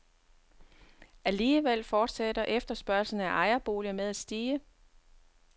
Alligevel fortsætter efterspørgslen af ejerboliger med at stige.